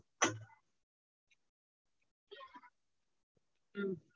உம்